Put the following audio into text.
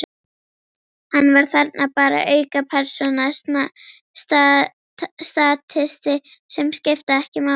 Hann var þarna bara, aukapersóna, statisti sem skipti ekki máli.